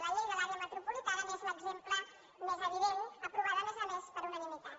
la llei de l’àrea metropolitana n’és l’exemple més evident aprovada a més a més per unanimitat